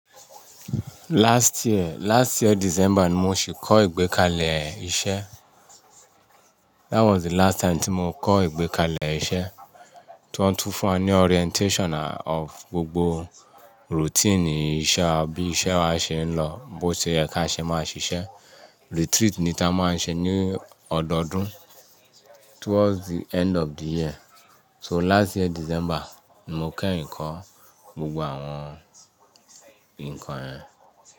Last year, last year December ni mo sì kọ́ ìgbékalẹ̀ iṣẹ́. That was the last time tí mo kọ́ ìgbékalẹ̀ iṣẹ́. Wọ́n tún fún wa ní orientation of gbogbo routine iṣẹ́, bí iṣẹ́ wa ṣe ń lọ, bó ṣe yẹ kí a ṣe máa ṣiṣẹ́. Retreat ni tí a máa ń ṣe ní ọdọọdún towards the end of the year. So last year December ni mo kẹ́rìn kọ́, gbogbo àwọn nǹkan yẹn.